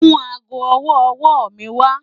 Mú àágọ́ ọwọ́-ọwọ́ mi wà.